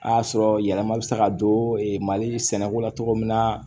A y'a sɔrɔ yɛlɛma bɛ se ka don mali sɛnɛko la cogo min na